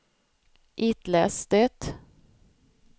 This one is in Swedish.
itläs det